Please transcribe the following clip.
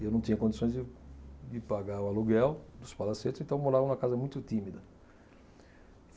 E eu não tinha condições de de pagar o aluguel dos palacetes, então eu morava numa casa muito tímida.